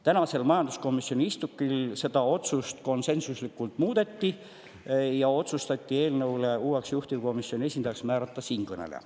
Tänasel majanduskomisjoni istungil seda otsust konsensuslikult muudeti ja otsustati selle eelnõu puhul uueks juhtivkomisjoni esindajaks määrata siinkõneleja.